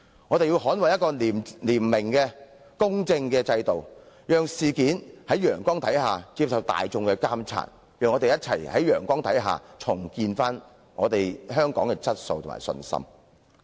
我們要捍衞廉明、公正的制度，讓事件在陽光下接受大眾監察，讓我們共同在陽光下重建香港的質素和信心。